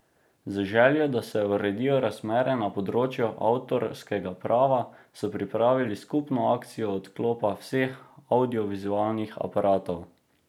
Z željo, da se uredijo razmere na področju avtorskega prava, so pripravili skupno akcijo odklopa vseh avdiovizualnih aparatov.